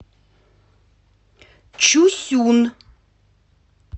чусюн